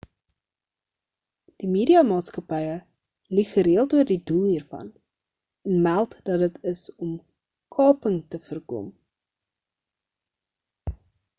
die media maatskappye lieg gereeld oor die doel hiervan en meld dat dit is om kaping te voorkom